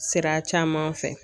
Sira caman fɛ